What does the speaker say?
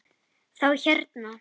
Þá hérna.